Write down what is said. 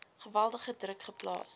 geweldige druk geplaas